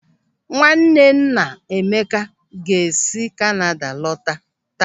Nwanne nna Emeka ga-esi Kanada lọta taa.